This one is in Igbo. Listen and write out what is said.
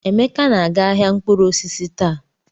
Emeka na-aga ahịa mkpụrụ osisi taa.